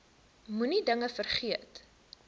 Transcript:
moenie dinge vergeet